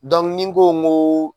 Dɔnku ni n ko ko